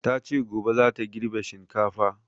Ta ce gobe za ta girbe shinkafa